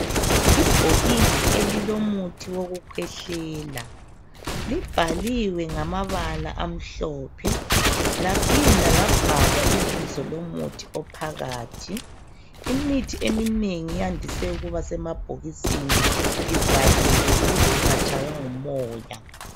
Ibhokisi elilomuthi wokukhwehlela libhaliwe ngamabala amhlophe laphinda labhalwa ibizo lomuthi ophakathi. Imithi eminengi iyandise ukuba semabhokisini ivaliwe ukuze ingatshaywa ngumoya